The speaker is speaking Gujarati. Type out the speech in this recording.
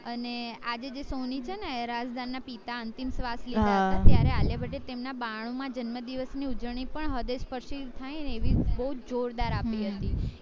અને આજે જે sony છે ને એ રાજ ના પિતા અંતિમ સ્વાસ લેતા હતા ત્યારે આવ્યું આલિયા ભટ્ટએ તેમના બાણુ માં જન્મદિવસ ની ઉજવણી પણ હૃદય સ્પર્શી થાય ને એવી બૌ જોરદાર આપી હતી